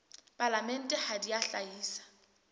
palamente ha di a hlahisa